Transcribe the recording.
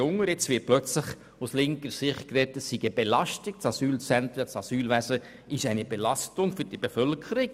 Jetzt sagt die linke Seite auf einmal, die Asylzentren und das Asylwesen seien eine Belastung für die Bevölkerung.